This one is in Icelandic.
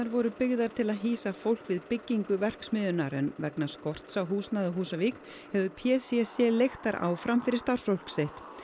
voru byggðar til að hýsa fólk við byggingu verksmiðjunnar en vegna skorts á húsnæði á Húsavík hefur p c c leigt þær áfram fyrir starfsfólk sitt